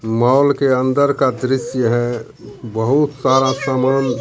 Mall के अंदर का दृश्य है बहुत सारा सामान।